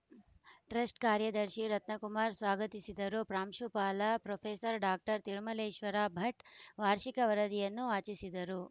trust ಕಾರ್ಯದರ್ಶಿ ರತ್ನಕುಮಾರ್ ಸ್ವಾಗತಿಸಿದರು ಪ್ರಾಂಶುಪಾಲ ಪ್ರೊಫೆಸರ್ ಡಾಕ್ಟರ್ ತಿರುಮಲೇಶ್ವರ ಭಟ್ ವಾರ್ಷಿಕ ವರದಿಯನ್ನು ವಾಚಿಸಿದರು